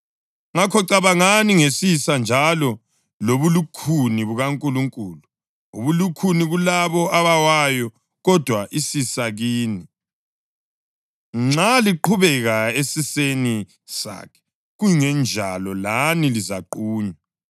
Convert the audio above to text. Ngakho cabangani ngesisa njalo lobulukhuni bukaNkulunkulu: ubulukhuni kulabo abawayo, kodwa isisa kini, nxa liqhubeka esiseni sakhe. Kungenjalo, lani lizaqunywa.